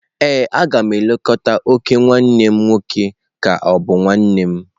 Ee, a ga m elekọta ok nwanne m nwoke ka ọ bụ nwa nne m.